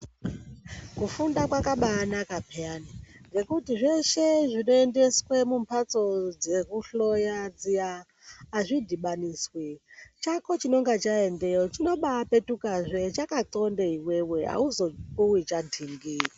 Kufunda kwakabanaka paani ngekuti zveshe zvinoendeswe kumbatso dzekuhloya dziya zvidhibaniswi chako chinonga chaendeyo chinobapetukazve chakathonde iwewe auzopuwi chantingi.